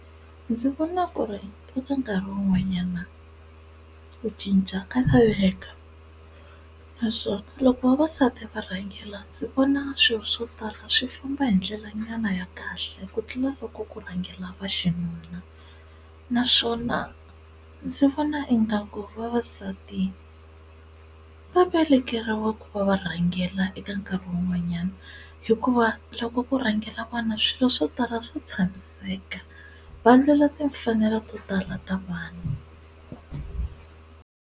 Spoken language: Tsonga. Ndzi vona ku ri eka nkarhi wun'wanyana ku cinca ka laveka naswona loko vavasati va rhangela ndzi vona swilo swo tala swi famba hi ndlela nyana ya kahle ku tlula loko ku rhangela va xinuna, naswona ndzi vona ingaku vavasati va velekeriwe ku va va rhangela eka nkarhi wun'wanyana hikuva loko ku rhangela vona swilo swo tala swo tshamiseka va lwela timfanelo to tala ta vanhu.